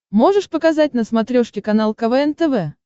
можешь показать на смотрешке канал квн тв